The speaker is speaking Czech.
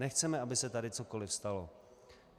Nechceme, aby se tady cokoliv stalo.